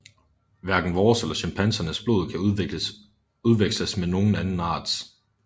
Hverken vores eller chimpansernes blod kan udveksles med nogen anden arts